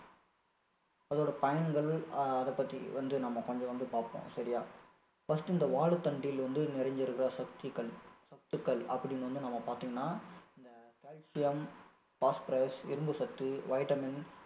அதோட பயன்கள் அதை பத்தி வந்து நம்ம கொஞ்சம் வந்து பாப்போம் சரியா first இந்த வாழைத்தண்டில் வந்து நிறைஞ்சு இருக்குற சத்துக்கள் சத்துக்கள் அப்படின்னு வந்து நம்ம பார்த்திங்கன்னா இந்த calcium, phosphorus இரும்பு சத்து, vitamin